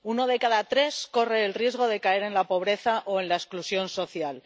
Uno de cada tres corre el riesgo de caer en la pobreza o en la exclusión social.